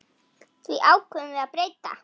Því ákváðum við að breyta.